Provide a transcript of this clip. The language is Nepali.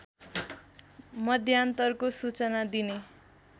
मध्यान्तरको सूचना दिने